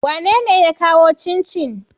Wanene ya kawo cincin?